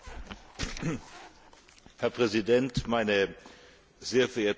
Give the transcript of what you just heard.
Herr Präsident, meine sehr verehrten Damen und Herren Abgeordnete!